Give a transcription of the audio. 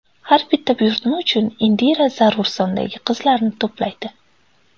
Har bitta buyurtma uchun Indira zarur sondagi qizlarni to‘playdi.